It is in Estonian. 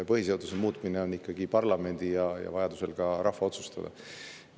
Põhiseaduse muutmine on parlamendi ja vajaduse korral ka rahva otsustada.